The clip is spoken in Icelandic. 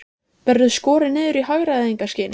Helga: Verður skorið niður í hagræðingarskyni?